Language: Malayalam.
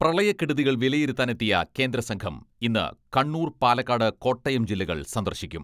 പ്രളയക്കെടുതികൾ വിലയിരുത്താനെത്തിയ കേന്ദ്രസംഘം ഇന്ന് കണ്ണൂർ, പാലക്കാട്, കോട്ടയം ജില്ലകൾ സന്ദർശിക്കും